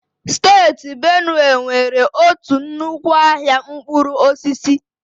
Steeti Benue nwere otu nnukwu ahịa mkpụrụ osisi.